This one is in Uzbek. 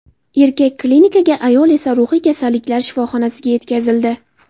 Erkak klinikaga, ayol esa ruhiy kasalliklar shifoxonasiga yetkazildi.